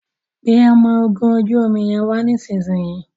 pé ọmọ ògún ojú omí yén wá nísìsiyìí.